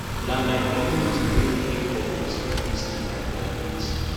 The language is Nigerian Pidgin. na my community wey pay for my school fees till i graduate